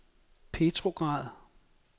Petrograd